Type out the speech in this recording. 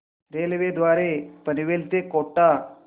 railway द्वारे पनवेल ते कोटा